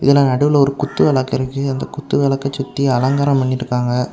இதுல நடுவுல ஒரு குத்து விளக்கு இருக்கு அந்த குத்து விளக்கசுத்தி அலங்காரம் பண்ணிருக்காங்க.